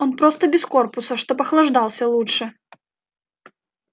он просто без корпуса чтоб охлаждался лучше